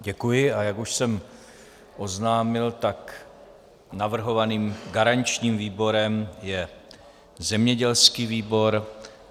Děkuji, a jak už jsem oznámil, tak navrhovaným garančním výborem je zemědělský výbor.